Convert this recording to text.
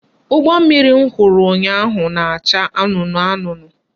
Ụgbọmmiri m hụrụ ụnyaahụ na-acha anụnụ anụnụ